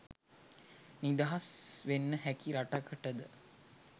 නිදහස් වෙන්න හැකි රටකටද?